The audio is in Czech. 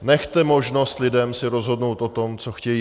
Nechte možnost lidem si rozhodnout o tom, co chtějí.